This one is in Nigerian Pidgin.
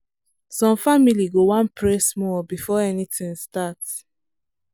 some family go wan pray small before anything start.